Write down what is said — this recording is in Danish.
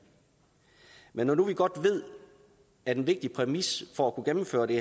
men når nu vi godt ved at en vigtig præmis for at kunne gennemføre det